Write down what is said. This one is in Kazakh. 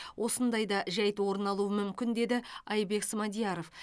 осындай да жайт орын алуы мүмкін деді айбек смадияров